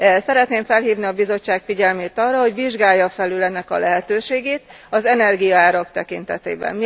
Szeretném felhívni a Bizottság figyelmét arra, hogy vizsgálja felül ennek a lehetőségét az energiaárak tekintetében.